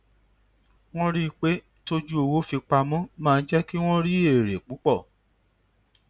wọn rí i pé tójú owó fìpamọ máa ń jé kí wón rí èrè púpọ